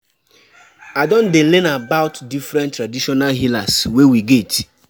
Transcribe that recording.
I don tell I don tell you sey dis traditional beliefs don dey outdated.